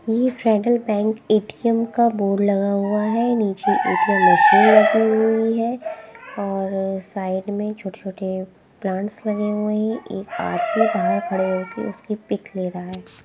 ये Federal Bank ATM का board लगा हुआ है नीचे ए_टी_एम मशीन रखी हुई है और साइड में छोटे छोटे प्लांट्स लगे हुए हैं एक आदमी बाहर खड़े हो के उसकी पिक ले रहा है।